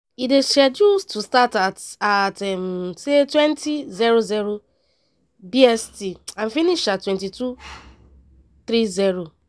e dey scheduled to start at at 20:00 bst and finish at 22:30.